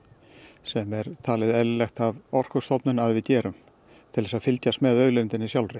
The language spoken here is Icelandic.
sem er talið eðlilegt af Orkustofnun að við gerum til að fylgjast með auðlindinni sjálfri